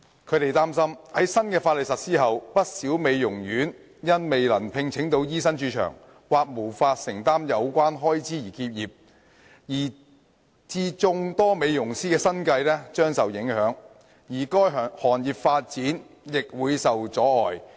他們擔心在新法例實施後，不少美容院因未能聘請到醫生駐場，或無法承擔有關開支而結業，以致眾多美容師的生計將受影響，而該行業的發展亦會受窒礙。